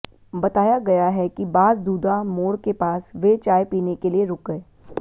बताया गया है कि बासदूधा मोड़ के पास वे चाय पीने के लिए रुक गए